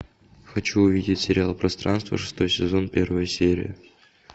хочу увидеть сериал пространство шестой сезон первая серия